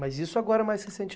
Mas isso agora mais recente